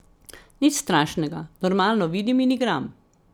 Nič strašnega, normalno vidim in igram.